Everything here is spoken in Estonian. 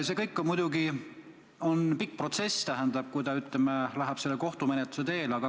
See muidugi on pikk protsess, kui ees seisab kohtumenetlus.